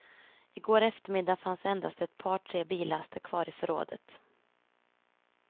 I går eftermiddag fanns endast ett par tre billaster kvar i förrådet.